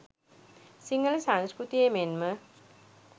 සිංහල සංස්කෘතියේ මෙන්ම